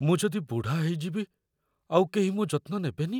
ମୁଁ ଯଦି ବୁଢ଼ା ହେଇଯିବି ଆଉ କେହି ମୋ' ଯତ୍ନ ନେବେନି?